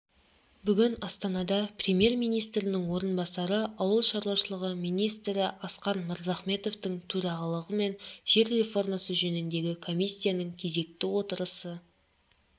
бүгін астанада премьер-министрінің орынбасары ауыл шаруашылығы министрі асқар мырзахметовтың төрағалығымен жер реформасы жөніндегі комиссияның кезекті отырысы